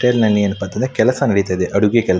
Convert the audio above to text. ಹೋಟೆಲ್ನಲ್ಲಿ ಏನಪ್ಪಾ ಅಂತ ಅಂದ್ರೆ ಕೆಲಸ ನಡೆಯುತ್ತದೆ ಅಡುಗೆ ಕೆಲಸ.